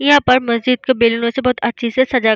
यहाँ पर मस्जिद के बिल में से बहुत अच्छे से सजा --